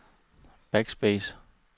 backspace